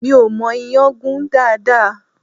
Mi ò mọ ìyàn gún dáadáa